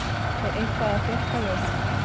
Er eitthvað að frétta Jóhanna?